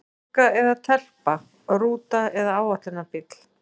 Stúlka eða telpa, rúta eða áætlunarbíll?